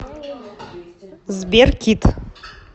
сбер кидд